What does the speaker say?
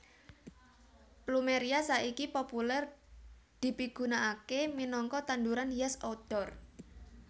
Plumeria saiki populèr dipigunakaké minangka tanduran hias outdoor